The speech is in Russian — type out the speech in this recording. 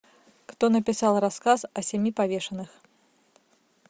кто написал рассказ о семи повешенных